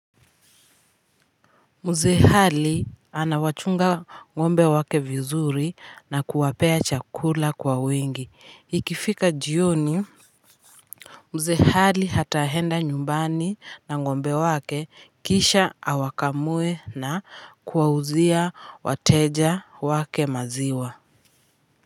Muzee hali anawachunga ngombe wake vizuri na kuwapea chakula kwa wingi ikifika jioni mzee hali hatahenda nyumbani na ngombe wake kisha awakamue na kuwauzia wateja wake maziwa.